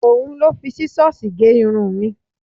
Òhun ló fi Sísọ́sìì gé irun mi.